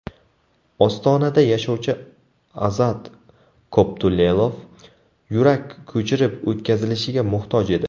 Ostonada yashovchi Azat Koptulelov yurak ko‘chirib o‘tkazilishiga muhtoj edi.